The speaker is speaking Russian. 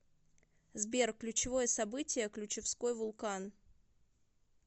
сбер ключевое событие ключевской вулкан